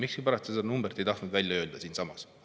Miskipärast te seda numbrit ei tahtnud avalikult välja öelda siinsamas.